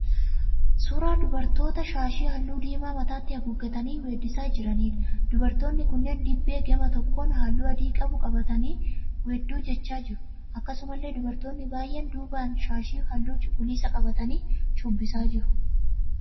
Suuraa dubartoota shaashii halluu diimaa mataatti haguuggatanii weeddisaa jiraniidha. Dubartoonni kun dibbee gama tokkoon halluu adii qabu qabatanii weedduu jechaa jiru. Akkasumallee dubartoonni baay'een duubaan shaashii halluu cuquliisa qabatanii shubbisaa jiru.